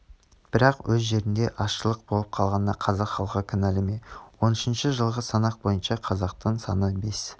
бірақ өз жерінде азшылық болып қалғанына қазақ халқы кінәл ме он үшнш жылғы санақ бойынша қазақтың саны бес